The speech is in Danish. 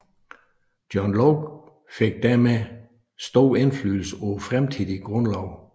John Locke fik dermed stor indflydelse på fremtidige grundlove